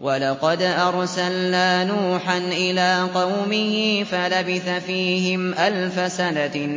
وَلَقَدْ أَرْسَلْنَا نُوحًا إِلَىٰ قَوْمِهِ فَلَبِثَ فِيهِمْ أَلْفَ سَنَةٍ